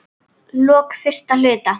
lok fyrsta hluta